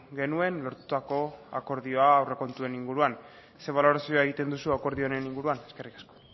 genuen lortutako akordioa aurrekontuen inguruan ze balorazioa egiten duzu akordio honen inguruan eskerrik asko